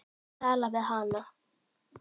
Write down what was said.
Að tala við hana!